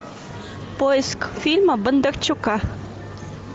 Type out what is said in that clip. поиск фильма бондарчука